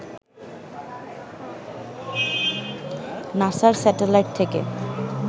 নাসার স্যাটেলাইট থেকে